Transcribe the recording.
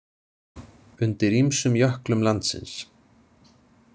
Undir ýmsum jöklum landsins.